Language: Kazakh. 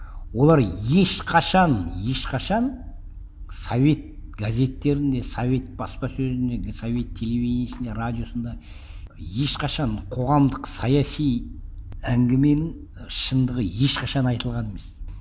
олар ешқашан ешқашан совет газеттерінде совет баспасөзіндегі совет телевидениесінде радиосында ешқашан қоғамдық саяси әңгіменің шындығы ешқашан айтылған емес